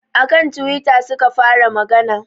A kan twitter suka fara magana